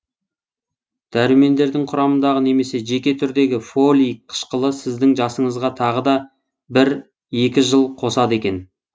дәрумендердің құрамындағы немесе жеке түрдегі фолий қышқылы сіздің жасыңызға тағы да бір екі жыл қосады екен